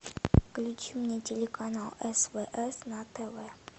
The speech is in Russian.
включи мне телеканал свс на тв